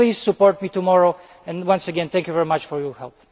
Please support me tomorrow and once again thank you very much for your help.